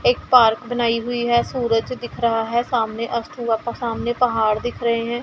एक पार्क बनाई हुई है सूरज दिख रहा है सामने अस्त हुआ सामने पहाड़ दिख रहे हैं।